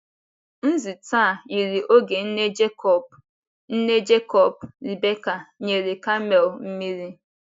Nzute a yiri oge nne Jekọb, nne Jekọb, Rebeka, nyere kamel mmiri.